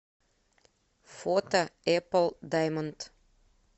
фото эпл даймонд